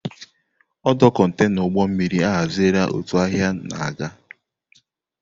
Ọdụ kontaịna ụgbọ mmiri ahaziela òtù ahịa na-aga.